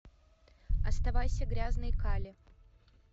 оставайся грязный кале